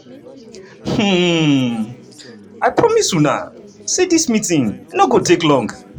um "i promise una say dis meeting no go take long